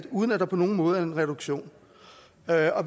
uden at der på nogen måde er en reduktion